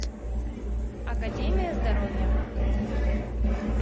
академия здоровья